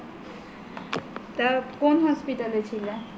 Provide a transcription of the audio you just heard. তা কোন hospital এ ছিলে